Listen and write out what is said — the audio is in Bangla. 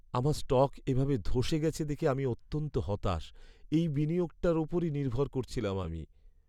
আমার স্টক এভাবে ধ্বসে গেছে দেখে আমি অত্যন্ত হতাশ। এই বিনিয়োগটার ওপরই নির্ভর করছিলাম আমি।